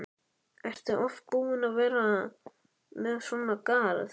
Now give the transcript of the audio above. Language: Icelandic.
Ertu oft búin að vera með svona garð?